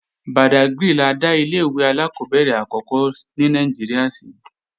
Bàdágrì la dá ilé-ìwé alákọ́bẹ̀rẹ̀ àkọ́kọ́ ní Nàìjíríà sí